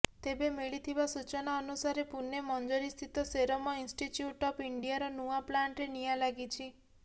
ତେବେ ମିଳିଥିବା ସୂଚନା ଅନୁସାରେ ପୁନେ ମଞ୍ଜରିସ୍ଥିତ ସେରମ ଇନ୍ଷ୍ଟିଚ୍ୟୁଟ ଅଫ ଇଣ୍ଡିଆର ନୂଆ ପ୍ଲାଣ୍ଟରେ ନିଆ ଲାଗିଛି